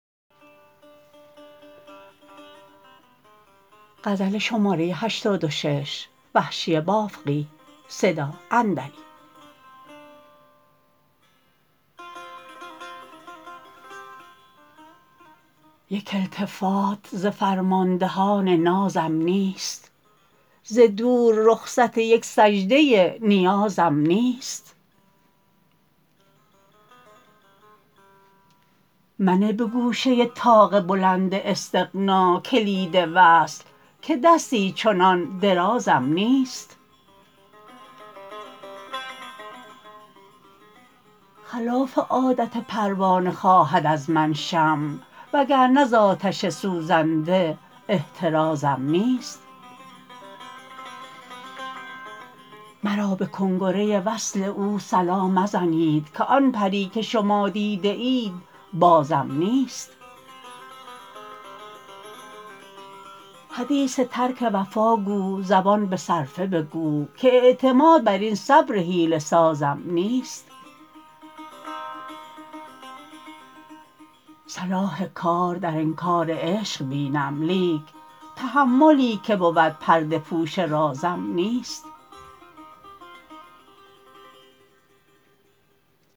یک التفات ز فرماندهان نازم نیست ز دور رخصت یک سجده نیازم نیست منه به گوشه طاق بلند استغنا کلید وصل که دستی چنان درازم نیست خلاف عادت پروانه خواهد از من شمع و گرنه ز آتش سوزنده احترازم نیست مرا به کنگره وصل او صلا مزنید که آن پری که شما دیده اید بازم نیست حدیث ترک وفا گو زبان به صرفه بگو که اعتماد بر این صبر حیله سازم نیست صلاح کار در انکار عشق بینم لیک تحملی که بود پرده پوش رازم نیست